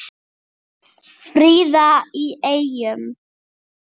Fríða í Eyjum